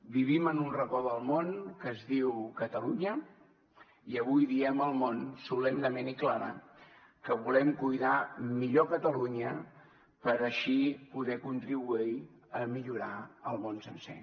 vivim en un racó del món que es diu catalunya i avui diem al món solemnement i clara que volem cuidar millor catalunya per així poder contribuir a millorar el món sencer